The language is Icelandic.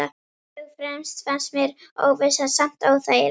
Fyrst og fremst fannst mér óvissan samt óþægileg.